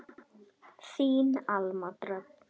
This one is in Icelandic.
Þín Alma Dröfn.